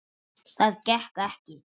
Það gekk ekki.